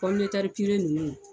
pɔmitɛrɛ ninnu